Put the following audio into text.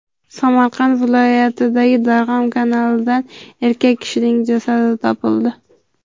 Samarqand viloyatidagi Darg‘om kanalidan erkak kishining jasadi topildi.